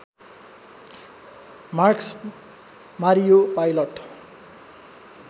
Marcus Mario pilot